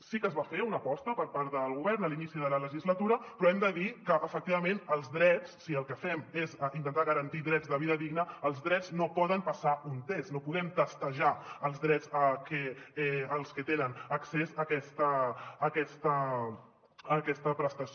sí que es va fer una aposta per part del govern a l’inici de la legislatura però hem de dir que efectivament si el que fem és intentar garantir drets de vida digna els drets no poden passar un test no podem testejar els drets als que tenen accés a aquesta prestació